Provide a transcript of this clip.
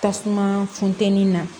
Tasuma funtɛni na